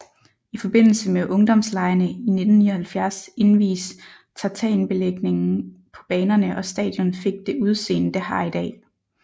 I forbindelse med Ungdomslegene i 1979 invies tartanbelægningen på banerne og stadion fik det udseende det har i dag